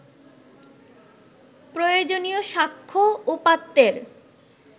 প্রয়োজনীয় স্বাক্ষ্য, উপাত্তের